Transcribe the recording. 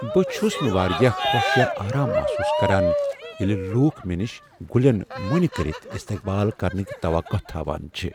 بہٕ چھس نہٕ واریاہ خوش یا آرام محسوٗس کران ییٚلہ لوٗکھ مےٚ نش گلٮ۪ن مۄنہِ کٔرتھ استیقبال کرنٕکۍ توقع تھاوان چھ ۔